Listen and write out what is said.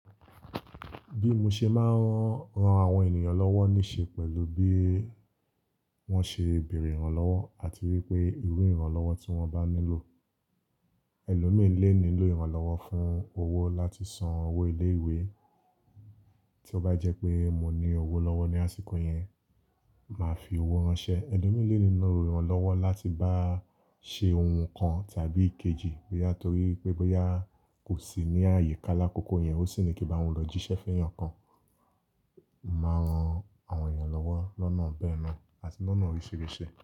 Bí mo ṣe máa ń ran àwọn ènìyàn lọ́wọ́ níṣe pẹ̀lú bí wọ́n ṣe béèrè ìrànlọ́wọ́ àti wípé irú ìrànlọ́wọ́ tí wọ́n bá nílò. Ẹ̀lòmíràn lè nílò ìrànlọ́wọ́ fún owó láti san owó ilé ìwé, tí ó bá jẹ́ pé mo ní owó lọ́wọ́ ní àsìkò yẹn, màá fi owó ránsẹ́. Ẹ̀lòmíràn lè nílò ìrànlọ́wọ́ láti bá ṣe ohun kan tàbí kejì, bóyá torí pé bóyá kò sì ní àyíká lákòókò yẹn ó sì ní kí bá wọn lọ jíṣẹ́ fun eeyan kan. Mo máa ń ran àwọn ènìyàn lọ́wọ́ lọ́nà bẹ́ẹ̀ náà àti lọ́nà oríṣiríṣi.